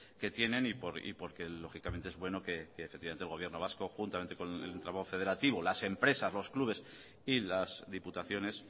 que tienen y porque lógicamente es bueno que efectivamente el gobierno vasco juntamente con el entramado federativo las empresas los clubes y las diputaciones